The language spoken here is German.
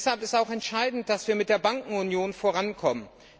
Deshalb ist auch entscheidend, dass wir mit der Bankenunion vorankommen.